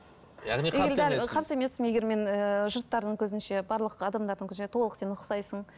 қарсы емеспін егер мен ііі жұрттардың көзінше барлық адамдардың көзінше толық сен ұқсайсың